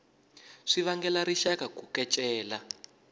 swi vangela rixaka ku kecela